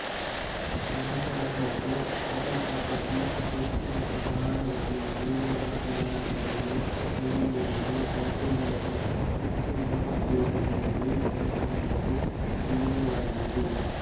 ಜನಸಾಂದ್ರತೆ ಮತಪದ್ಧತಿ ಹೆಚ್ಚಿನ ಪ್ರಮಾಣದಲ್ಲಿ ಜೀವನಾಧಾರದ ಬೆಳೆ ತೆಗೆಯುವುದು ಸಾಧ್ಯವಾದ ತಗ್ಗು ನೆಲಪ್ರದೇಶದಲ್ಲಿ ಜನಸಾಂದ್ರತೆ ಅತೀವವಾಗಿದೆ